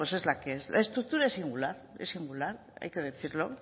es la que es la estructura es singular es singular hay que decirlo